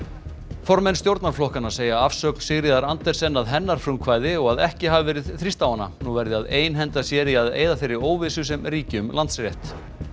formenn stjórnarflokkanna segja afsögn Sigríðar Andersen að hennar frumkvæði og að ekki hafi verið þrýst á hana nú verði að einhenda sér í að eyða þeirri óvissu sem ríki um Landsrétt